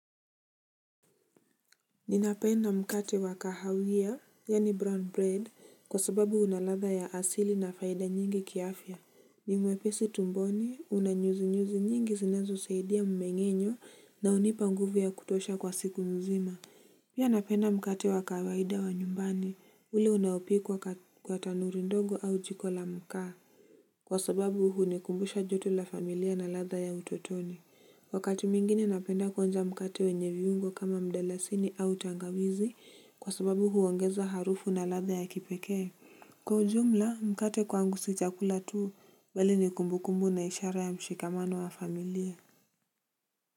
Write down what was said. Ninapenda mkate wa kahawia, yaani brown bread, kwa sababu una ladha ya asili na faida nyingi kiafya. Ni mwepesi tumboni, una nyuzi nyuzi nyingi zinazosaidia mmeng'enyo na hunipa nguvu ya kutosha kwa siku mzima. Pia napenda mkate wa kawaida wa nyumbani, ule unaopikwa kwa tanuri ndogo au jiko la mkaa. Kwa sababu hunikumbusha joto la familia na ladha ya utotoni. Wakati mwingine napenda kwanza mkate wenye viungo kama mdalasini au tangawizi kwa sababu huongeza harufu na ladha ya kipekee. Kwa ujumla mkate kwangu si chakula tu bali ni kumbukumbu na ishara ya mshikamano wa familia.